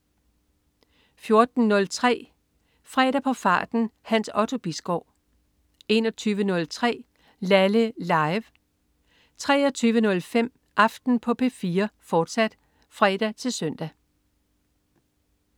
14.03 Fredag på farten. Hans Otto Bisgaard 21.03 Laleh. Live 23.05 Aften på P4, fortsat (fre-søn)